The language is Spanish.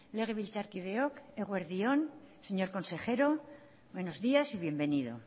legebiltzarkideok eguerdi on señor consejero buenos días y bienvenido